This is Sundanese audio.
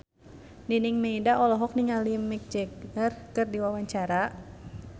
Nining Meida olohok ningali Mick Jagger keur diwawancara